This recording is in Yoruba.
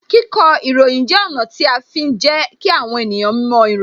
Kíkọ ìròyìn jẹ́ ọ̀nà tí a fi ń jẹ kí àwọn ènìyàn moìròyìn